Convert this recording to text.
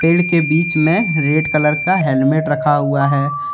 पेड़ के बीच में रेड कलर का हेल्मेट रखा हुआ है।